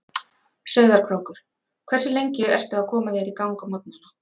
Sauðárkrókur Hversu lengi ertu að koma þér í gang á morgnanna?